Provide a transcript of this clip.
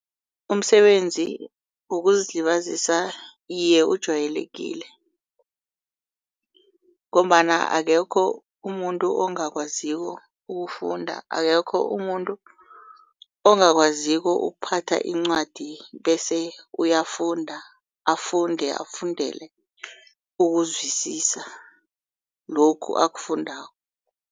Umsebenzi wokuzilibazisa iye uwjayelekile ngombana akekho umuntu ongakwaziko ukufunda akekho umuntu ongakwaziko ukuphatha incwadi bese uyafunda afunde afundele ukuzwisisa lokhu akufundako.